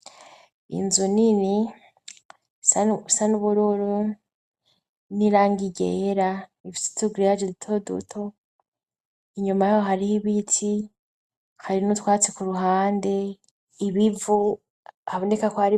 Inzu nini, isa nubururu, n'irangi ryera ifise utu grillage duto duto, inyuma yaho hariho ibiti hari n' utwatsi ku ruhande, ibivu, haboneka k...